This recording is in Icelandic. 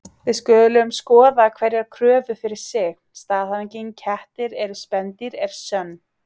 Við skulum skoða hverja kröfu fyrir sig: Staðhæfingin kettir eru spendýr er sönn.